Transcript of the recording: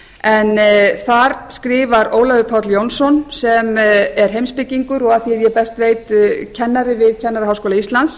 en þar skrifar ólafur páll jónsson sem er heimspekingur og að því er ég best veit kennari við kennaraháskóla íslands